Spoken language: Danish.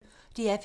DR P1